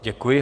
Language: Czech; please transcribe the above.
Děkuji.